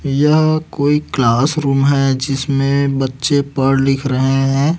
यह कोई class room है जिसमें बच्चे पढ़ लिख रहे हैं।